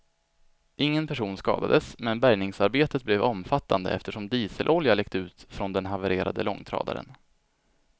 Ingen person skadades, men bärgningsarbetet blev omfattande eftersom diselolja läckt ut från den havererade långtradaren.